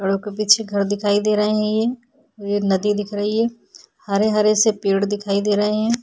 और के पीछे यह घर दिखाई दे रहे हैं ये और ये नदी दिख रही है। हरे हरे से पेड़ दिखाई दे रहे हैं।